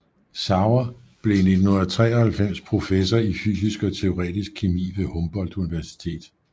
Sauer blev i 1993 professor i fysisk og teoretisk kemi ved Humboldt Universitetet